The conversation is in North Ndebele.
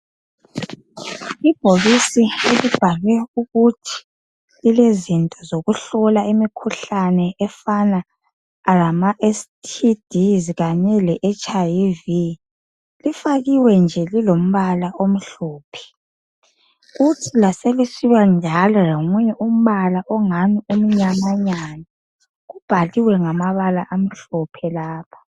Ibhokisi elibhale ukuthi lilezinto zokuhlola imikhuhlane efana lama STD kanye leHlV lifakiwe nje lilombala omhlophe kuthi laselisiba njalo lombala omnyamanyana obhaliwe njalo ngamabala amhlophe.